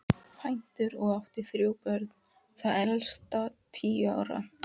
Kvæntur og átti þrjú börn, það elsta tíu ára.